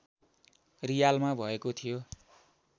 रियालमा भएको थियो